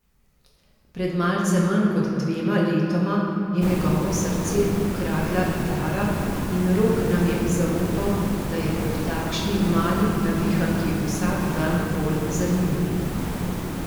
Pred malce manj kot dvema letoma je njegovo srce ukradla Tara in Rok nam je zaupal, da je ob takšni mali navihanki vsak dan bolj zanimiv.